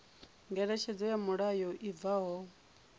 ngeletshedzo ya mulayo i bvaho